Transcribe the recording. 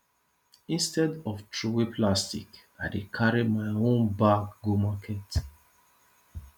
instead of throwaway plastic i dey carry my own bag go market